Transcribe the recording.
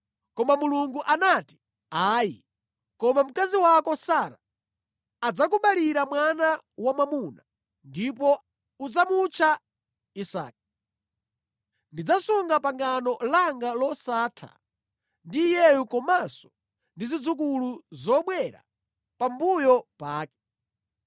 Koma Mulungu anati, “Ayi, koma mkazi wako Sara adzakubalira mwana wamwamuna, ndipo udzamutcha Isake. Ndidzasunga pangano langa losatha ndi iyeyu komanso ndi zidzukulu zobwera pambuyo pake.